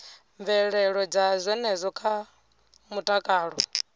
mvelelo dza zwenezwo kha mutakalo